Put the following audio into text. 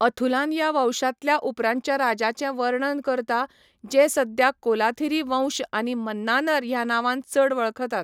अथुलान ह्या वंशांतल्या उपरांतच्या राजांचें वर्णन करता, जे सद्या कोलाथिरी वंश आनी मन्नानर ह्या नांवान चड वळखतात.